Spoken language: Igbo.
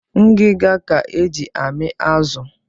Ngiga ka e ji amị azụ